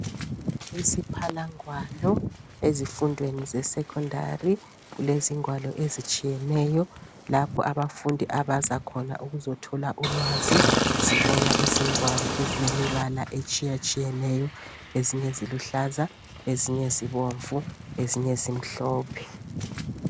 isiphalangwalo ezifundweni ze secondary kulezingwalo ezitshiyeneyo lapha abafundi abaza khona ukuzothola ulwazi sibona izingwalo ezilemibala etshiyeneyo ezinye ziluhlaza ezinye zibomvu ezinye zimhlophe